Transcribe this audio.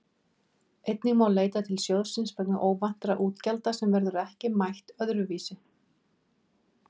Einnig má leita til sjóðsins vegna óvæntra útgjalda sem verður ekki mætt öðru vísi.